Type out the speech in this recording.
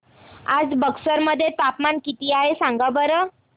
आज बक्सर मध्ये तापमान किती आहे सांगा बरं